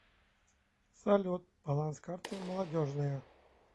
салют баланс карты молодежная